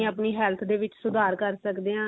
ਆਪਣੀ health ਦੇ ਵਿੱਚ ਸੁਧਾਰ ਕਰ ਸਕਦੇ ਆਂ